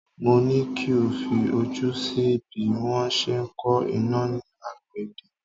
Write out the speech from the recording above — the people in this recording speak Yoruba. Mo ní kí o fi ojú sí bí wọ́n se ń ko iná ní àgbẹ̀dẹ